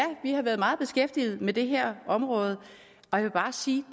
vi har været meget beskæftiget med det her område jeg vil bare sige